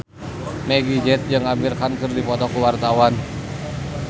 Meggie Z jeung Amir Khan keur dipoto ku wartawan